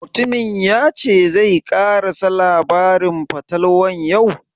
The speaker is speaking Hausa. Mutumin ya ce zai ƙarasa labarin fatalwar yau?